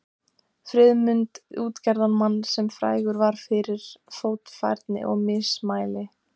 Friðmund útgerðarmann, sem frægur var fyrir fljótfærni og mismæli.